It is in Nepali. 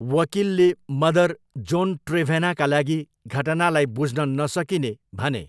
वकिलले मदर, जोन ट्रेभेनाका लागि घटनालाई 'बुझ्न नसकिने' भने।